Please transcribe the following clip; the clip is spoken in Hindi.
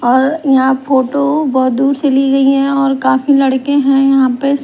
और यहां फोटो बहुत दूर से ली गई हैं और काफी लड़के हैं यहाँ पे।